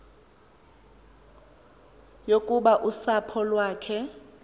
yokuba usapho lwakhe